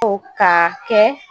O ka kɛ